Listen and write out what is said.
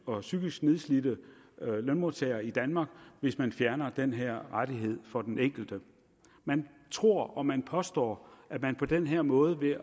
og psykisk nedslidte lønmodtagere i danmark hvis man fjerner den her rettighed for den enkelte man tror og man påstår at man på den her måde ved